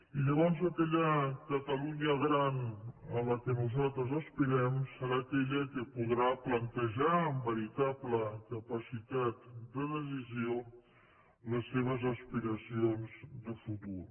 i llavors aquella catalunya gran a la qual nosaltres aspirem serà aquella que podrà plantejar amb veritable capacitat de decisió les seves aspira cions de futur